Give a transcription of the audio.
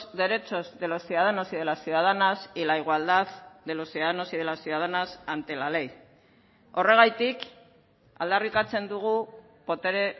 derechos de los ciudadanos y de las ciudadanas y la igualdad de los ciudadanos y de las ciudadanas ante la ley horregatik aldarrikatzen dugu botere